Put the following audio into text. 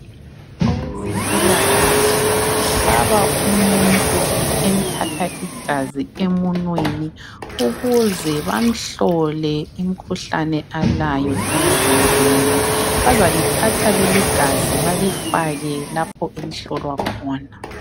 Owezempilakahle ohlaba umuntu empapha igazi emunweni ukuze bamhlole imkhuhlane alayo emzimbeni bazalithatha leligazi balifake lapho enhlolwa khona